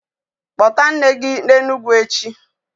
Kpota nne gi na Enugu echi?